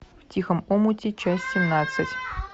в тихом омуте часть семнадцать